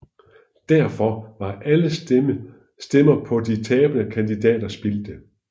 Derfor var alle stemmer på de tabende kandidater spildte